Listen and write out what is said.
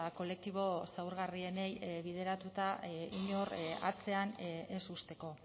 kolektibo zaurgarrienei bideratuta inor atzean ez uzteko